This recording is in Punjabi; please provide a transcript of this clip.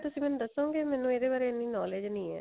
ਤੁਸੀਂ ਮੈਨੂੰ ਦੱਸੋਗੇ ਮੈਨੂੰ ਇਹਦੇ ਬਾਰੇ ਇੰਨੀ knowledge ਨਹੀਂ ਏ